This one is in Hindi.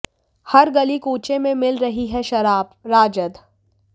हर गली कूचे में मिल रही है शराबः राजद